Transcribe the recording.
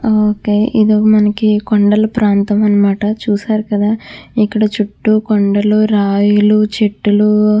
ఆ ఓకే ఇది మనకి కొండల ప్రాంతం అనమాట చూశారు కదా ఇక్కడ చుటూ కొండలు రాయిలు చెట్టులు.